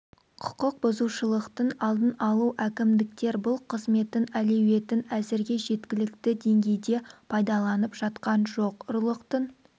құқық бұзушылықтардың алдын алу әкімдіктер бұл қызметтің әлеуетін әзірге жеткілікті деңгейде пайдаланып жатқан жоқ ұрлықтың